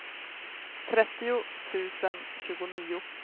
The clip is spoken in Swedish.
trettio tusen tjugonio